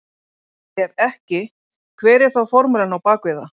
Ef ekki hver er þá formúlan á bak við það?